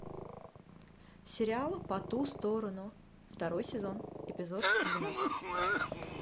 сериал по ту сторону второй сезон эпизод двенадцать